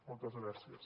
moltes gràcies